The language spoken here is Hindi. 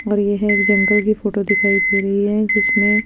और येह जंगल की फोटो दिखाई देरी है जिसमे--